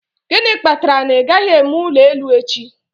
Gịnị kpatara na ị gaghị eme ụlọ elu echi?